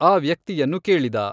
ಆ ವ್ಯಕ್ತಿಯನ್ನು ಕೇಳಿದ.